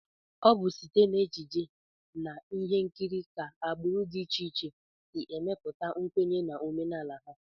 Ọ bụ site n'ejije na ihe nkiri ka agbụrụ dị iche iche si emepụta nkwenye na omenala ha